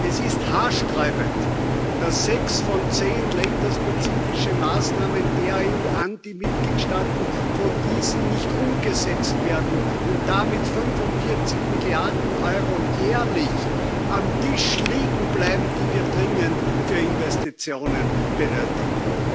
Es ist haarsträubend, dass sechs von zehn länderspezifischen Maßnahmen der EU an die Mitgliedsstaaten von diesen nicht umgesetzt werden und damit 45 Milliarden Euro jährlich auf dem Tisch liegen bleiben, die wir dringend für Investitionen benötigen.